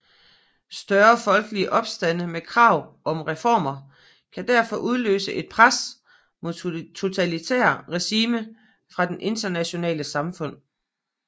Større folkelige opstande med krav om reformer kan derfor udløse et pres mod totalitære regimer fra det internationale samfund